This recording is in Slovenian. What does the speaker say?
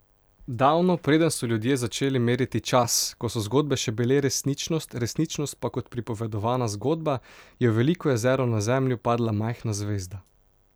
Davno, preden so ljudje začeli meriti čas, ko so zgodbe še bile resničnost, resničnost pa kot pripovedovana zgodba, je v veliko jezero na zemljo padla majhna zvezda.